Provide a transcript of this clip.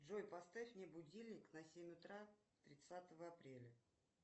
джой поставь мне будильник на семь утра тридцатого апреля